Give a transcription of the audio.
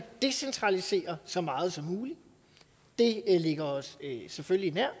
decentralisere så meget som muligt det ligger os selvfølgelig nært